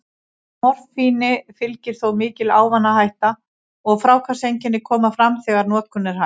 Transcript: Morfíni fylgir þó mikil ávanahætta, og fráhvarfseinkenni koma fram þegar notkun er hætt.